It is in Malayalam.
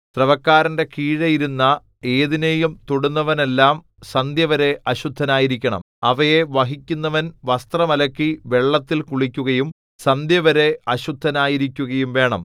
സ്രവക്കാരന്റെ കീഴെ ഇരുന്ന ഏതിനെയും തൊടുന്നവനെല്ലാം സന്ധ്യവരെ അശുദ്ധനായിരിക്കണം അവയെ വഹിക്കുന്നവൻ വസ്ത്രം അലക്കി വെള്ളത്തിൽ കുളിക്കുകയും സന്ധ്യവരെ അശുദ്ധനായിരിക്കുകയും വേണം